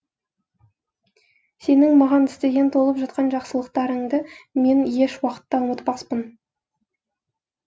сенің маған істеген толып жатқан жақсылықтарыңды мен еш уақытта ұмытпаспын